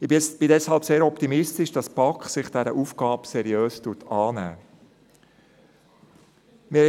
Ich bin deshalb sehr optimistisch, dass sich die BaK dieser Aufgabe seriös annehmen wird.